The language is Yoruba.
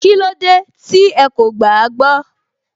Kílódé tí ẹ kò gbàágbọ́